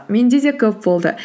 менде де көп болды